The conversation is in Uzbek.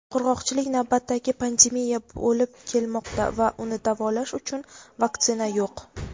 "Qurg‘oqchilik navbatdagi pandemiya bo‘lib kelmoqda va uni "davolash" uchun "vaksina" yo‘q.